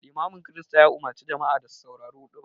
Limamin Kirista ya umarci jama'a da su saurari huɗuba